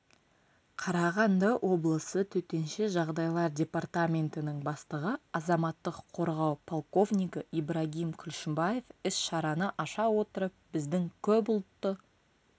қарағанды облысы төтенше жағдайлар департаментінің бастығы азаматтық қорғау полковнигі ибрагим күлшімбаев іс-шараны аша отырып біздің көпұлтты